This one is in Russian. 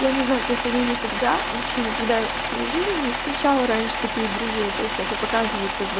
я не знаю просто я никогда вообще никогда в своей жизни не встречала раньше таких друзей то есть это показывают как бы